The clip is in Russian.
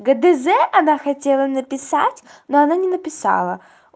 гдз она хотела написать но она не написала